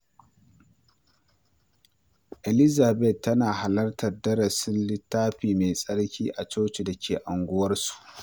Elizabeth tana halartar darussan Littafi Mai Tsarki a cocin da ke unguwarsu.